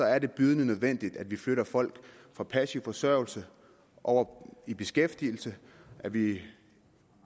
er det bydende nødvendigt at vi flytter folk fra passiv forsørgelse over i beskæftigelse at vi